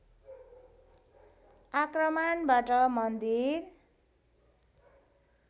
आक्रमणबाट मन्दिर